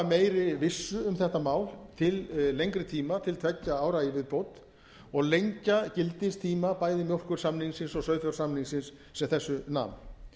meiri vissu um þetta mál til lengri tíma til tveggja ára í viðbót og lengja gildistíma bæði mjólkursamningsins og sauðfjársamningsins sem þessu nam